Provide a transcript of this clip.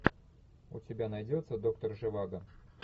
у тебя найдется доктор живаго